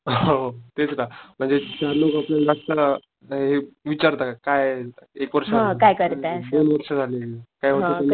हो तेच ना म्हणजे चार लोक आपल्याला बघता हे विचारता काय एक वर्ष झालं. दोन वर्ष झाले काय होत कि नाही